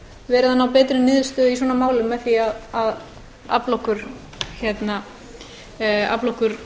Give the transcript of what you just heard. verið að ná betri niðurstöðu í svona málum með því að afla okkur